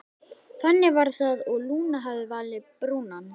Þannig var það og Lúna hafði valið Brúnan.